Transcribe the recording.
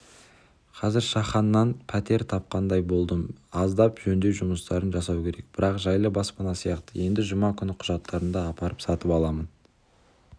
қазір шаханнан пәтер тапқандай болдым аздап жөндеу жұмыстарын жасау керек бірақ жайлы баспана сияқты енді жұма күні құжаттарымды апарып сатып аламын